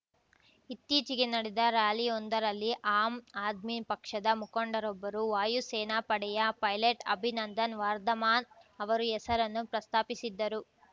ಇತ್ತೀಚಿಗೆ ನಡೆದ ಱ್ಯಾಲಿಯೊಂದರಲ್ಲಿ ಆಮ್ ಆದ್ಮಿ ಪಕ್ಷದ ಮುಖಂಡರೊಬ್ಬರು ವಾಯುಸೇನಾ ಪಡೆಯ ಪೈಲಟ್ ಅಭಿನಂದನ್ ವರ್ಧಮಾನ್ ಅವರ ಹೆಸರನ್ನು ಪ್ರಸ್ತಾಪಿಸಿದ್ದರು